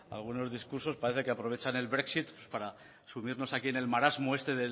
algunos discursos parece que aprovechan el brexit para subirnos aquí en el marasmo este